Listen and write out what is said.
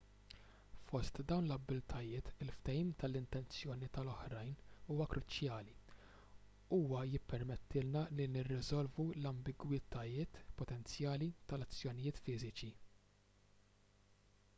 fost dawn l-abbiltajiet il-fehim tal-intenzjoni tal-oħrajn huwa kruċjali huwa jippermettilna li nirriżolvu l-ambigwitajiet potenzjali tal-azzjonijiet fiżiċi